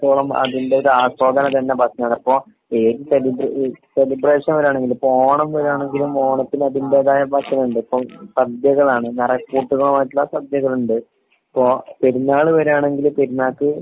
എന്നിടത്തോളം അതിന്റെ ഒരു ആസ്വാതണം തന്നെ ഭക്ഷണങ്ങളാണ്. അപ്പൊ ഈ സെലിബ്രി ഈ സെലിബ്രേഷൻ വരാണെങ്കിൽ ഇപ്പൊ ഓണം വരാണെങ്കിലും ഓണത്തിന് അതിന്റെതായ ഭക്ഷണോണ്ട്. ഇപ്പൊ സാധ്യകളാണ്. നറച്ചു വിഭവങ്ങളായിട്ടുള്ള സദ്യകളുണ്ട്. ഇപ്പൊ പെരുന്നാള് വരാണെങ്കില് പെരുന്നാക്ക്